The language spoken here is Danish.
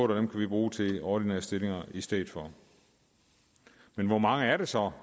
dem kan vi bruge til ordinære stillinger i stedet for men hvor mange er det så